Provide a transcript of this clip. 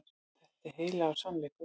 Þetta er heilagur sannleikur.